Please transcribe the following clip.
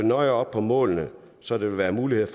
nøje op på målene så det vil være muligt